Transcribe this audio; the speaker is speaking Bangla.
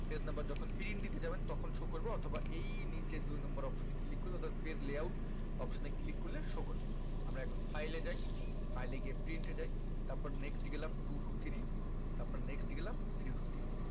page number যখন print দিতে যাবেন তখন show করবে অথবা এই নিচে দুই number এ option এ click করে অর্থাৎ page layout option এ click করলে show করবে আমরা এখন file এ যাই file এ গিয়ে print এ যাই তাপর next গেলাম two two three তারপর next গেলাম three two three